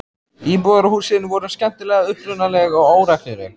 Íbúðarhúsin voru skemmtilega upprunaleg og óregluleg.